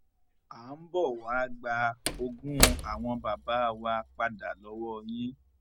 à ń bọ wàá gba ogún àwọn bàbá wa padà lọwọ yín